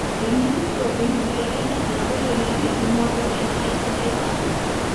emitito enkibelekenyata oloingange tumoto enkare sidai safi.